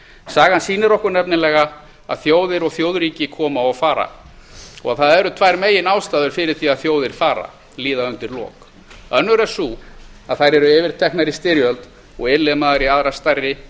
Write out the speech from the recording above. sagan sýnir okkur nefnilega að þjóðir og þjóðríki koma og fara og að það eru tvær meginástæður fyrir því að þjóðir fara líða undir lok önnur er sú að þær eru yfirteknar í styrjöld og innlimaðar í aðrar stærri